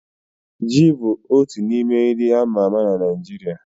Ji bụ otu n'ime nri a ma ama na Naịjirịa.